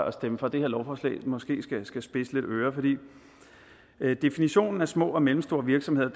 at stemme for det her lovforslag måske skal spidse lidt ører at definitionen på små og mellemstore virksomheder